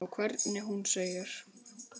Og hvernig hún segir